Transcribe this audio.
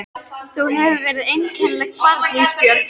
Þú hefur verið einkennilegt barn Ísbjörg.